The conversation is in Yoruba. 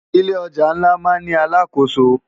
Ilé òjá nlá má n ni àlákósó